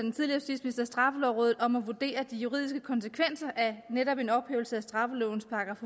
straffelovrådet om at vurdere de juridiske konsekvenser af netop en ophævelse af straffelovens §